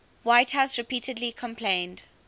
whitehouse repeatedly complained